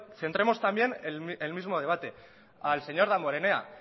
centremos también el mismo debate al señor damborenea